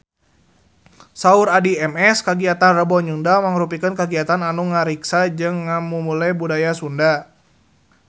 Saur Addie MS kagiatan Rebo Nyunda mangrupikeun kagiatan anu ngariksa jeung ngamumule budaya Sunda